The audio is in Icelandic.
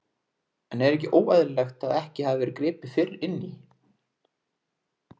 En er ekki óeðlilegt að ekki hafi verið gripið fyrr inn í?